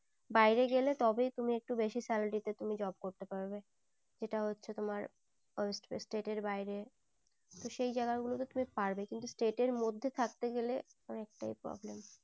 বাইরে গেলেই তবে তুমি একটু বেশি salary তে job করতে পারবে সেটা হচ্ছে তোমার ওই state এর বাইরে তো সেই জায়গা গুলো তে তুমি পারবে কিন্তু state এর মধ্যে থাকতে গেলে অনেক তাই problem